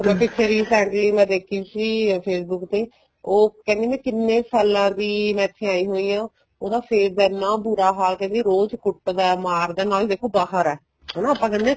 recently ਮੈਂ ਦੇਖੀ ਸੀ Facebook ਤੇ ਉਹ ਕਹਿੰਦੀ ਮੈਂ ਕਿੰਨੇ ਸਾਲਾ ਦੀ ਮੈਂ ਇੱਥੇ ਆਈ ਹੋਈ ਹਾਂ ਉਹਦੇ face ਦਾ ਐਨਾ ਬੂਰਾ ਹਾਲ ਕਹਿੰਦਾ ਰੋਜ ਕੁੱਟਦਾ ਏ ਮਾਰਦਾ ਏ ਨਾਲੇ ਦੇਖੋ ਬਾਹਰ ਹੈ ਹਨਾ ਆਪਾਂ ਕਹਿੰਦੇ ਆ